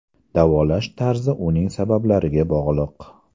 Davolash tarzi uning sabablariga bog‘liq.